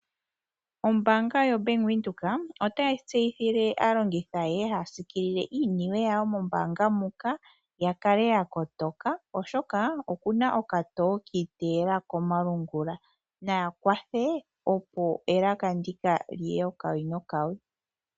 Ombaanga yoBank Windhoek otayi tseyithile aalongithi ayehe haya siikilile iiniwe yawo mombaanga muka ya kale ya kotoka, oshoka oku na okatoo ki iteyela komalungula. Naya kwathe opo elaka ndika li ye okawi nokawi.